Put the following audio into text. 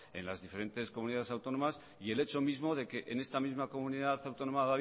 en las diferentes comunidades autónomas y el hecho mismo de que en esta misma comunidad autónoma